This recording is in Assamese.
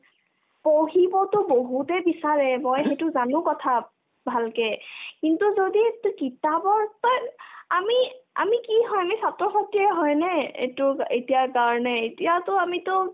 পঢ়িবতো বহুতে বিচাৰে মই সেইটো জানো কথা ভালকে কিন্তু যদি এইতো কিতাপৰ তই আমি আমি কি হয় আমি ছাত্ৰ-ছাত্ৰীয়ে হয়নে এটো এতিয়াৰ কাৰণে এতিয়াতো আমিতো